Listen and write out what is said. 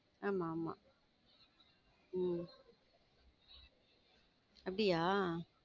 ஆமா ஆமா உம் அப்படியா?